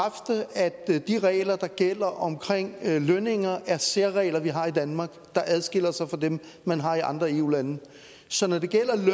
jeg er de regler der gælder omkring lønninger er særregler vi har i danmark der adskiller sig fra dem man har i andre eu lande så når det gælder